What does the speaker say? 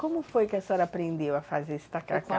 Como foi que a senhora aprendeu a fazer esse tacacá?